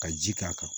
Ka ji k'a kan